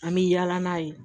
An bɛ yaala n'a ye